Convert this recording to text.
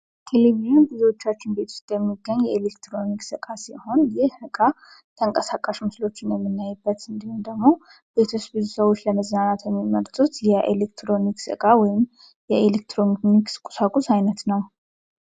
ኪሊሚዩን ብዙቻችን ቤትስት የሚገኝ የኤሌክትሮኒክ እቃ ሲሆን፤ ይህ እቃ ተንቀሳቃሽ ምስሎችን የሚናይበት እንዲሁም ደግሞ ቤቶች ብዙ ሰዎች ለመዛናናት የሚመርጡት የኤሌክትሮኒክ እቃ ወይም የኤሌክትሮኒክስ ቁሳቁስ ዓይነት ነው።